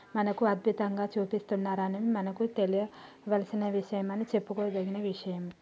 మనకు అద్బుతంగా చూపిస్తున్నారని మనకు తెలియవాల్సిన విషయం అని చెప్పుకో దగిన విషయం.